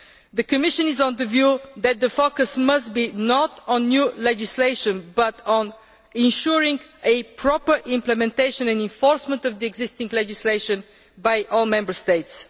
The Commission is of the view that the focus must not be on new legislation but on ensuring the proper implementation and enforcement of existing legislation by all Member States.